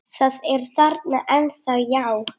Það er þarna ennþá, já.